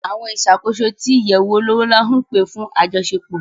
Àwọn ìṣàkóso tí àwọn ìyẹ̀wù olówó ńlá ń pè fún àjọṣepò